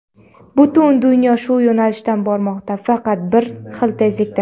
Butun dunyo shu yo‘nalishdan bormoqda, faqat har xil tezlikda.